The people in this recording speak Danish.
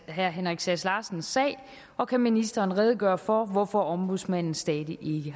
herre henrik sass larsens sag og kan ministeren redegøre for hvorfor ombudsmanden stadig